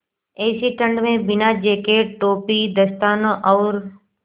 ऐसी ठण्ड में बिना जेकेट टोपी दस्तानों और